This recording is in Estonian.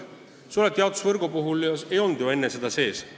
Suletud jaotusvõrku ei olnud enne sees.